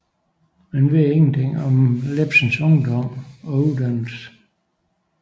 Man ved intet om Iebsens ungdom og uddannelse